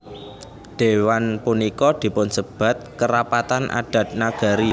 Dhéwan punika dipunsebat Kerapatan Adat Nagari